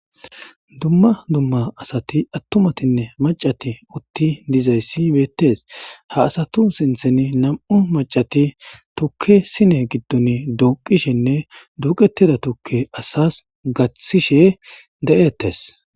Dumma dumma asati attumatinne maccati utti dizayssi beetees; ha asatu sintheni nam'u maccati tukke sine gidoni duuqishenne duuqetida tukke asas gathishe de'etees.